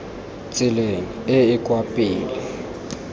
tseleng e e kwa pele